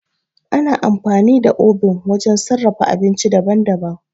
Ana amfani da obin wajen sarrafa abinci daban-daban.